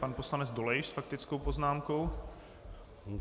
Pan poslanec Dolejš s faktickou poznámkou.